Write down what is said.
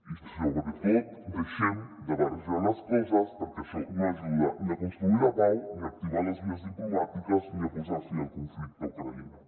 i sobretot deixem de barrejar les coses perquè això no ajuda ni a construir la pau ni a activar les vies diplomàtiques ni a posar fi al conflicte a ucraïna